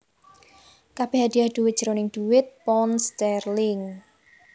Kabèh hadiah dhuwit jroning dhuwit pound sterling